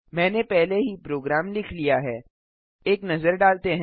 मैंने पहले ही प्रोग्राम लिख लिया है एक नजर डालते हैं